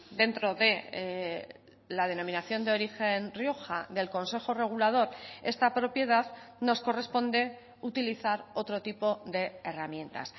dentro de la denominación de origen rioja del consejo regulador esta propiedad nos corresponde utilizar otro tipo de herramientas